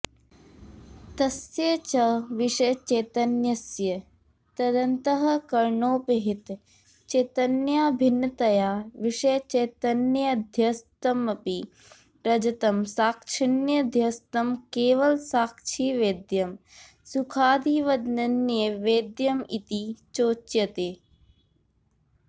तस्य च विषयचैतन्यस्य तदन्तःकरणोपहित चैतन्याभिन्नतया विषयचैतन्येऽध्यस्तमपि रजतं साक्षिण्यध्यस्तं केवलसाक्षिवेद्यं सुखादिवदनन्यवेद्यमिति चोच्यते